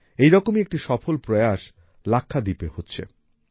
এইরকমই একটি সফল প্রয়াস লাক্ষাদ্বীপে হচ্ছে